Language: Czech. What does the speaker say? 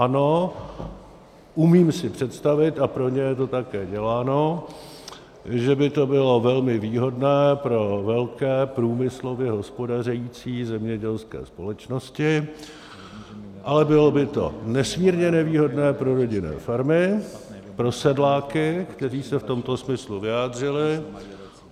Ano, umím si představit, a pro ně je to také děláno, že by to bylo velmi výhodné pro velké průmyslově hospodařící zemědělské společnosti, ale bylo by to nesmírně nevýhodné pro rodinné farmy, pro sedláky, kteří se v tomto směru vyjádřili.